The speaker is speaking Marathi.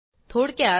थोडक्यात